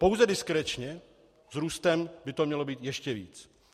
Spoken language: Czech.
Pouze diskrečně, s růstem by to mělo být ještě víc.